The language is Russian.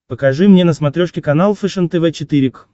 покажи мне на смотрешке канал фэшен тв четыре к